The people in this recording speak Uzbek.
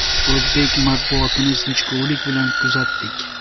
O‘zbek matbuotini sinchikovlik bilan kuzatdik.